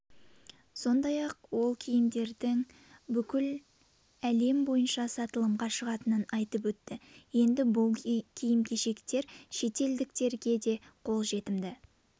сондай-ақ ол киімдердің бүкіл әлем бойынша сатылымға шығатынын айтып өтті енді бұл киім-кешектер шетелдіктерге де қолжетімді